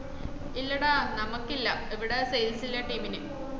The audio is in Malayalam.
ഇല്ലടാ നമക്ക് ഇല്ല ഇവട sales ലെ team ന്